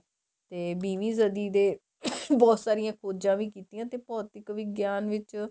ਤੇ ਵੀਹਵੀਂ ਸਦੀਂ ਦੇ ਬਹੁਤ ਸਾਰੀਆਂ ਖੋਜਾਂ ਵੀ ਕੀਤੀਆਂ ਤੇ ਭੋਧਿਕ ਵਿਗਿਆਨ ਵਿੱਚ